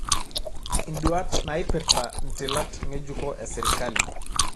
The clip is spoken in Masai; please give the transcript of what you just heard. induat naipirta ntilat ng'ejuko esirkali